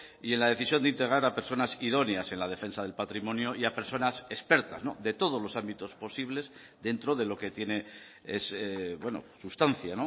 y en la decisión de integrar a personas idóneas en la defensa del patrimonio y a personas expertas de todos los ámbitos posibles dentro de lo que tiene sustancia